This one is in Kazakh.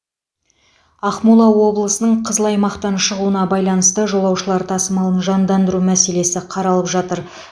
ақмола облысының қызыл аймақтан шығуына байланысты жолаушылар тасымалын жандандыру мәселесі қаралып жатыр